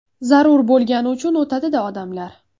Zarur bo‘lgani uchun o‘tadi-da odamlar.